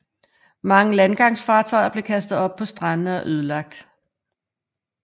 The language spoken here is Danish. Mange landgangsfartøjer blev kastet op på strandene og ødelagt